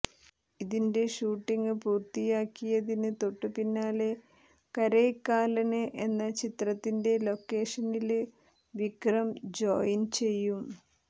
ഇതിന്റെ ഷൂട്ടിങ് പൂര്ത്തിയാക്കിയതിന് തൊട്ടുപിന്നാലെ കരൈക്കാലന് എന്ന ചിത്രത്തിന്റെ ലൊക്കേഷനില് വിക്രം ജോയിന് ചെയ്യും